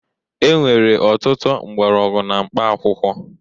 E nwere ọtụtụ mgbọrọgwụ na mkpaakwụkwọ